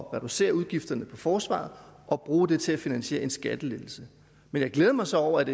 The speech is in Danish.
at reducere udgifterne på forsvaret og bruge dem til at finansiere en skattelettelse men jeg glæder mig så over at